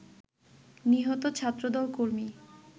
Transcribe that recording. নিহত ছাত্রদল কর্মী